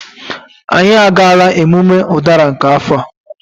Anyị agaala emume ụdara nke afọ a